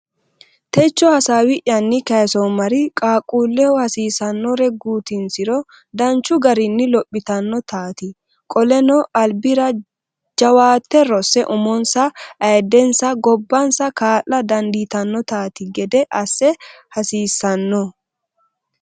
Techo hasaawi’yanni kaysoommari qaaqquulleho hasiisannore guutinsiro danchu garinni lophitannotaati Qoleno albira jawaatte rosse umonsa, ayiddensanna gobbansa kaa’la dandiitannotaati gede assa haasiisano?